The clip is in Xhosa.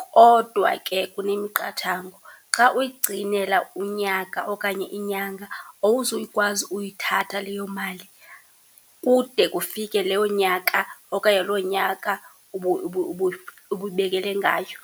Kodwa ke kunemiqathango, xa uyigcinela unyaka okanye inyanga awuzukwazi uyithatha leyo mali kude kufike leyo nyaka okanye loo nyaka ubuyibekele ngayo.